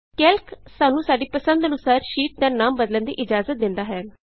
Calc ਸਾਨੂੰ ਸਾਡੀ ਪਸੰਦ ਅਨੁਸਾਰ ਸ਼ੀਟ ਦਾ ਨਾਮ ਬਦਲਣ ਦੀ ਇਜਾਜ਼ਤ ਦਿੰਦਾ ਹੈ